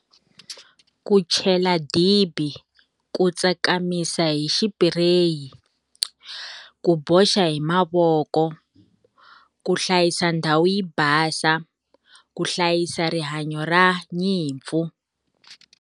Ku chela dibi, ku tsakamisa hi xipireyi, ku boxa hi mavoko, ku hlayisa ndhawu yi basa, ku hlayisa rihanyo ra nyimpfu.